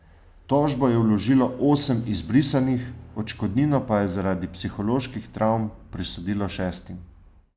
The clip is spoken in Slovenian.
Tožbo je vložilo osem izbrisanih, odškodnino pa je zaradi psiholoških travm prisodilo šestim.